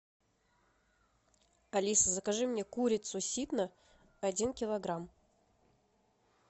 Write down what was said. алиса закажи мне курицу ситно один килограмм